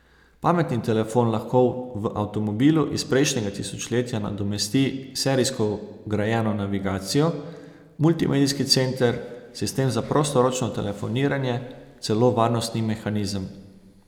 Pametni telefon lahko v avtomobilu iz prejšnjega tisočletja nadomesti serijsko vgrajeno navigacijo, multimedijski center, sistem za prostoročno telefoniranje, celo varnostni mehanizem.